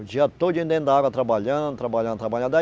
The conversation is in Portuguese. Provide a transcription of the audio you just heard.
O dia todinho dentro da água, trabalhando, trabalhando, trabalhando.